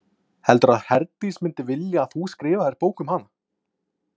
Heldurðu að Herdís myndi vilja að þú skrifaðir bók um hana?